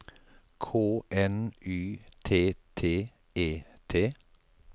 K N Y T T E T